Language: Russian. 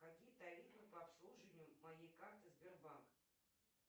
какие тарифы по обслуживанию моей карты сбербанк